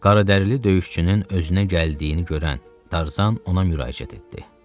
Qaradərili döyüşçünün özünə gəldiyini görən Tarzan ona müraciət etdi.